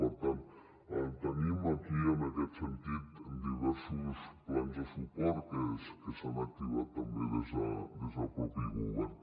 per tant tenim aquí en aquest sentit diversos plans de suport que s’han activat també des del mateix govern